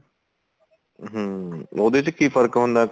ਹਮ ਉਹਦੇ ਚ ਕੀ ਫਰਕ ਹੁੰਦਾ